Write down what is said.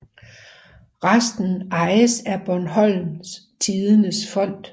Resten ejes af Bornholms Tidendes Fond